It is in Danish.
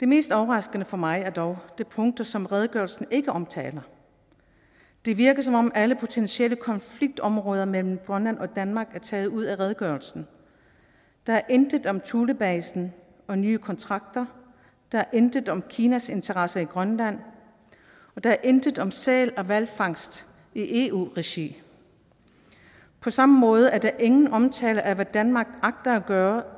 mest overraskende for mig er dog de punkter som redegørelsen ikke omtaler det virker som om alle potentielle konfliktområder mellem grønland og danmark er taget ud af redegørelsen der er intet om thulebasen og nye kontrakter der er intet om kinas interesser i grønland og der er intet om sæl og hvalfangst i eu regi på samme måde er der ingen omtale af hvad danmark agter at gøre